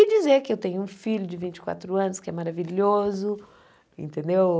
E dizer que eu tenho um filho de vinte e quatro anos que é maravilhoso, entendeu?